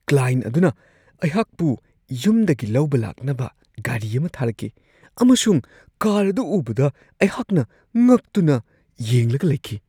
Client ꯑꯗꯨꯅ ꯑꯩꯍꯥꯛꯄꯨ ꯌꯨꯝꯗꯒꯤ ꯂꯧꯕ ꯂꯥꯛꯅꯕ ꯒꯥꯔꯤ ꯑꯃ ꯊꯥꯔꯛꯈꯤ ꯑꯃꯁꯨꯡ ꯀꯥꯔ ꯑꯗꯨ ꯎꯕꯗ ꯑꯩꯍꯥꯛꯅ ꯉꯛꯇꯨꯅ ꯌꯦꯡꯂꯒ ꯂꯩꯈꯤ ꯫